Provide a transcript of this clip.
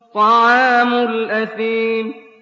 طَعَامُ الْأَثِيمِ